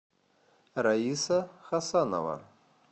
раиса хасанова